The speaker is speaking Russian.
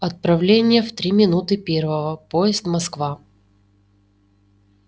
отправление в три минуты первого поезд москва